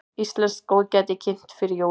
Íslenskt góðgæti kynnt fyrir jólin